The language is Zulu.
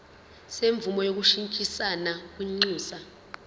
semvume yokushintshisana kwinxusa